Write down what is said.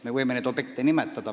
Me võime neid objekte nimetada.